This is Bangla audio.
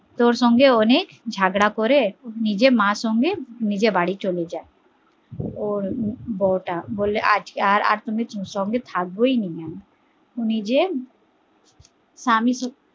তোর সঙ্গে অনেক ঝগড়া করে নিজের মা সাথে নিজের বাড়ি চলে যায় ওর বৌ তা বলে আর তোর সঙ্গে থাকবোই না আমি নিজে স্বামীর